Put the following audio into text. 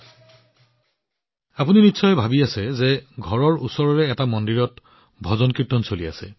আপোনালোকে নিশ্চয় ভাবিছে যে চুবুৰীয়াৰ কোনো মন্দিৰত ভজন কীৰ্তন কৰা হৈছে